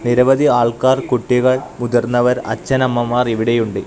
നിരവധി ആൾക്കാർ കുട്ടികൾ മുതിർന്നവർ അച്ഛനമ്മമാർ ഇവിടെ ഉണ്ട്.